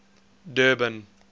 durban